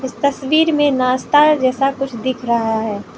तस्वीर मे नाश्ता जैसा कुछ दिख रहा है।